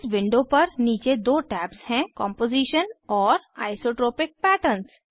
इस विंडो पर नीचे दो टैब्स हैं कॉम्पोजीशन और आइसोट्रोपिक पैटर्न